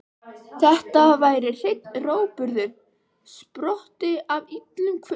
Þetta væri hreinn rógburður, sprottinn af illum hvötum.